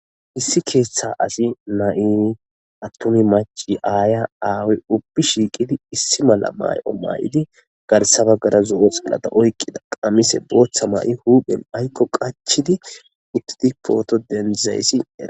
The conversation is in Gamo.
issi keeththa asi na7i attumi maci aaya aawi ubbi shiiqidi issi mala may7o maa7idi garsabaggara zo7o xillata oyqqida qamise booththa ma7i huuphen aykko qachidi uttidi pooto denzayssi eea